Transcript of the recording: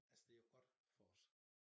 Altså det jo ikke godt for os